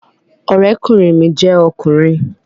Ọ̀rẹ́kùnrin mi jẹ́ ọkùnrin